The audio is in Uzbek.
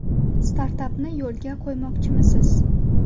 Startapni yo‘lga qo‘ymoqchimisiz?